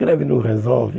Greve não resolve.